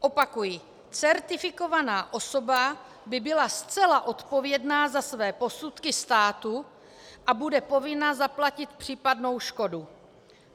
Opakuji: Certifikovaná osoba by byla zcela odpovědná za své posudky státu, a bude povinna zaplatit případnou škodu.